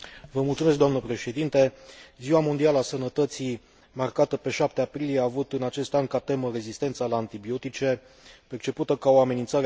Ziua mondială a sănătății, marcată pe 7 aprilie, a avut în acest an ca temă rezistența la antibiotice, percepută ca o amenințare globală pentru sănătatea publică.